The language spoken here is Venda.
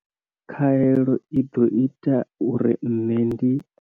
Khaelo i ḓo ita uri nṋe ndi.